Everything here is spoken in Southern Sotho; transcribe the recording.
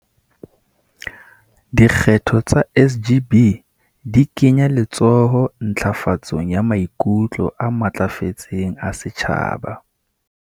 "Dikgetho tsa SGB di kenya letsoho ntlafatsong ya maikutlo a matlafetseng a setjhaba."